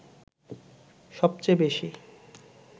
সবচেয়ে বেশি